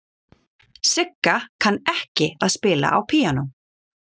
Sigga kann ekki að spila á píanó.